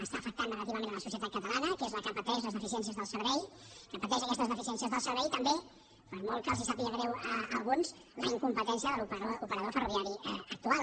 està afectant negativament la societat catalana que és la que pateix les deficiències del servei que pateix aquestes deficiències del servei i també per molt que els sàpiga greu a alguns la incompetència de l’operador ferroviari actual